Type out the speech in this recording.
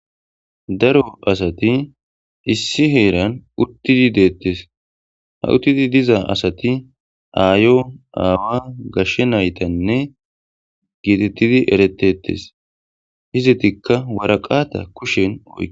daro asati issi heeran uttidi deettes ha uttidi diza asati aayo aawa gashshe naytanne giitettidi eretetes hizditikka waraqata kushen o